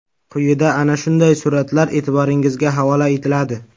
Quyida ana shunday suratlar e’tiboringizga havola etiladi.